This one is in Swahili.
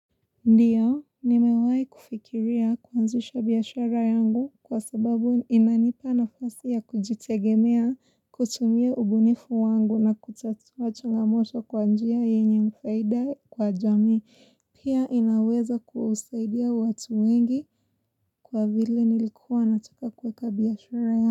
Ndiyo, nimewai kufikiria kuanzisha biashara yangu kwa sababu inanipa nafasi ya kujitegemea kutumia ubunifu wangu na kutatua changamoto kwa njia yenye faida kwa jamii. Pia inaweza kuusaidia watu wengi kwa vile nilikuwa nataka kuweka biashara yangu.